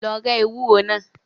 Lọ rẹ́ ewúro náà.